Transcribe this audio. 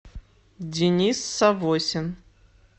денис савосин